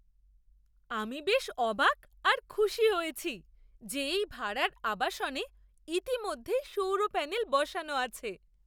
আমি বেশ অবাক আর খুশি হয়েছি যে এই ভাড়ার আবাসনে ইতিমধ্যেই সৌর প্যানেল বসানো আছে।